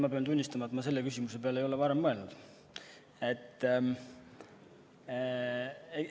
Ma pean tunnistama, et ma ei ole selle küsimuse peale varem mõelnud.